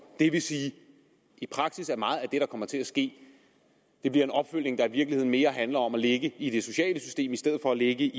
det vil sige at i praksis er meget af det der kommer til at ske en opfølgning der i virkeligheden mere handler om at ligge i det sociale system i stedet for at ligge